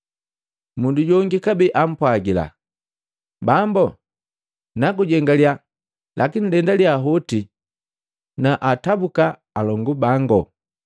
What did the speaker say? Mundu jongi kabee ampwagila, “Bambu nagujengaliya lakini lendaliya hoti nakaatabuka alongu bango.”